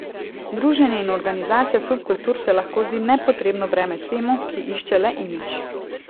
Druženje in organizacija subkultur se lahko zdi nepotrebno breme temu, ki išče le imidž.